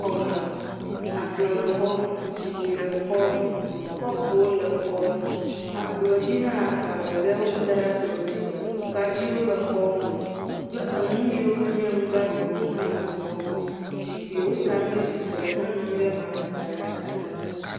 Xɔme. Akplɔ̃ le xɔme, zikpi le xɔme, kɔpowo le xɔme. Akplɔ̃dzi hã, agbalẽ ɖe, wokɔ da ɖe akplɔ̃dzi. Kaɖiwo le xɔme kple nu yi ke nye nu gbagbewo hã le xɔme. Zikpi, woda nu ɖe zikpi me. Ne enɔ anyi ɖe mea, ada ɖe atata.